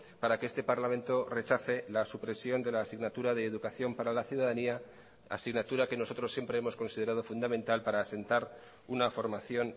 para que este parlamento rechace la supresión de la asignatura de educación para la ciudadanía asignatura que nosotros siempre hemos considerado fundamental para asentar una formación